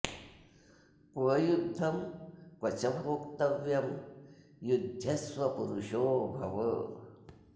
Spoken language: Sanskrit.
क्व युद्धं क्व च भोक्तव्यं युध्यस्व पुरुषो भव